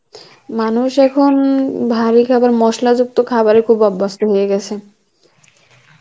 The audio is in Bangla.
মানুষ এখন, ভারী কেবল মশলা যুক্ত খাবারএ খুব অভস্ত হয়ে গেছে